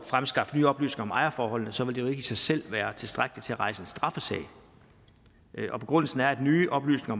fremskaffe nye oplysninger om ejerforholdene så vil det jo ikke i sig selv være tilstrækkelig til at rejse en straffesag begrundelsen er at nye oplysninger